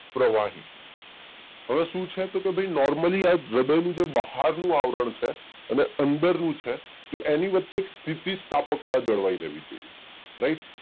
પ્રવાહી હવે શું છે તો કે ભાઈ નોર્મલી આ જબરનું આ બાહરનું જે આવરણ છે અને અંદરનું છે તો એની વચ્ચે એક સ્થિતિ સ્થાપકતા જળવાઈ રેહ્વી જોઈએ રાઈટ